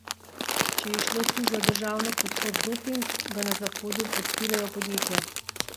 Če je šlo tu za državno podprt doping, ga na Zahodu podpirajo podjetja.